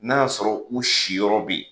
N'a y'a sɔrɔ u siyɔrɔ bɛ yen.